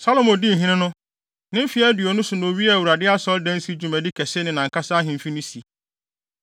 Salomo dii hene no, ne mfe aduonu so na owiee Awurade Asɔredansi dwumadi kɛse ne nʼankasa ahemfi no si.